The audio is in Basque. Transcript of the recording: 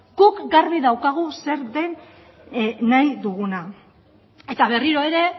guk garbi daukagu zer den nahi duguna eta berriro ere